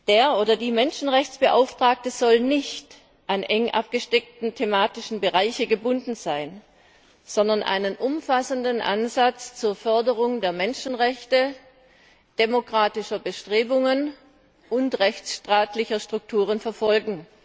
Der oder die Menschenrechtsbeauftragte soll nicht an eng abgesteckte thematische Bereiche gebunden sein, sondern einen umfassenden Ansatz zur Förderung der Menschenrechte, demokratischer Bestrebungen und rechtsstaatlicher Strukturen verfolgen.